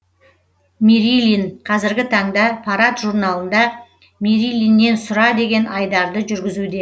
мерилин қазіргі таңда парад журналында мерилиннен сұра деген айдарды жүргізуде